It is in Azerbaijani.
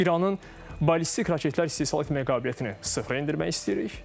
İranın ballistik raketlər istehsal etmə qabiliyyətini sıfıra endirmək istəyirik.